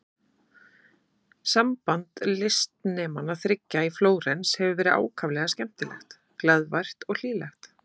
Samband listnemanna þriggja í Flórens hefur verið ákaflega skemmtilegt, glaðvært og hlýlegt.